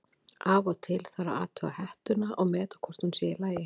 Af og til þarf að athuga hettuna og meta hvort hún sé í lagi.